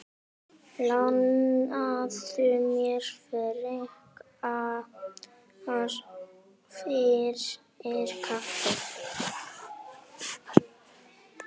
Lánaðu mér frekar fyrir kaffi.